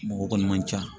Mɔgɔ kɔni man ca